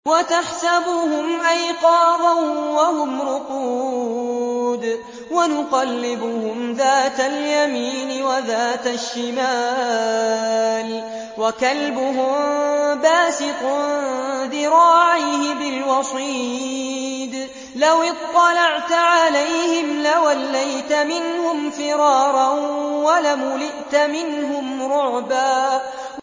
وَتَحْسَبُهُمْ أَيْقَاظًا وَهُمْ رُقُودٌ ۚ وَنُقَلِّبُهُمْ ذَاتَ الْيَمِينِ وَذَاتَ الشِّمَالِ ۖ وَكَلْبُهُم بَاسِطٌ ذِرَاعَيْهِ بِالْوَصِيدِ ۚ لَوِ اطَّلَعْتَ عَلَيْهِمْ لَوَلَّيْتَ مِنْهُمْ فِرَارًا وَلَمُلِئْتَ مِنْهُمْ رُعْبًا